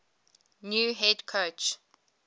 new head coach